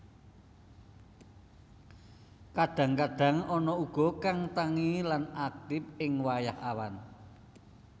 Kadang kadang ana uga kang tangi lan aktif ing wayah awan